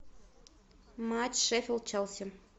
матч шеффилд челси